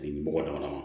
Bɔgɔ damadɔ ma